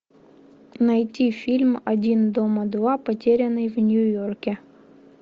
найти фильм один дома два потерянный в нью йорке